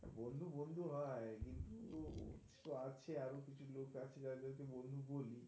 বন্ধু বন্ধু হয় কিন্তু, তো আছে আরো কিছু লোক আছে যাদের কে বন্ধু বলি.